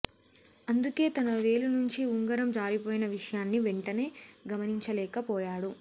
అందుకే తన వేలు నుంచి ఉంగరం జారిపోయిన విషయాన్ని వెంటనే గమనించలేక పోయాడు